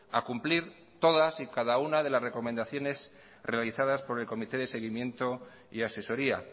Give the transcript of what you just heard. a cumplir todas y cada una de las recomendaciones realizadas por el comité de seguimiento y asesoría